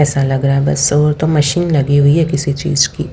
ऐसा लग रहा है बस और तो मशीन लगी हुई है किसी चीज की।